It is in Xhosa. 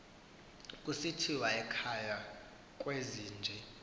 kusithiwa ekhaya kwezinje